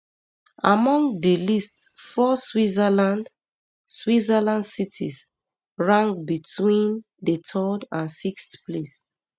among di list four switzerland switzerland cities rank between di third and sixth place